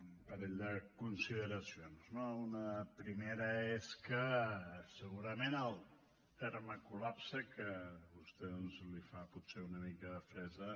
un parell de consideracions no una primera és que segurament el terme col·lapse que a vostè doncs li fa potser una mica de fressa